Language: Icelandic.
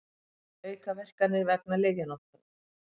Aukaverkanir vegna lyfjanotkunar.